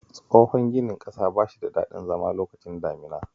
Tsohon ginin ƙasa ba shi da dadin zama lokacin damuna